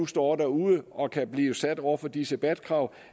står derude og kan blive sat over for disse bat krav